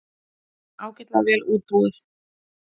Ágætlega vel útbúið.